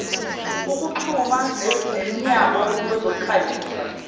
ukuxhuma nemnyango wezokukhangisa